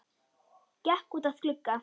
Gekk út að glugga.